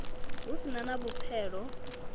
hu si na na vhupfelo